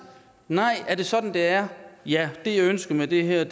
nej er det sådan det er ja det jeg ønsker med det her